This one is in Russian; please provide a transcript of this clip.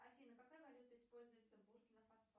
афина какая валюта используется в буркина фасо